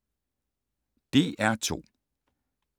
DR2